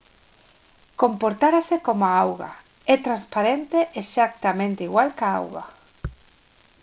«comportarase como a auga. é transparente exactamente igual que a auga